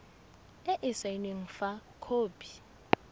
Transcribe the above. e e saenweng fa khopi